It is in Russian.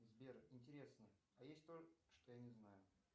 сбер интересно а есть то что я не знаю